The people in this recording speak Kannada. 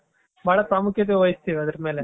ಬಹಳ ಪ್ರಾಮುಖ್ಯತೆ ವಹಿಸ್ತೀವಿ ಅದರ ಮೇಲೆ.